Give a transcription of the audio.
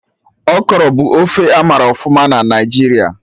Okro bụ ofe amara ọfụma na Naijiria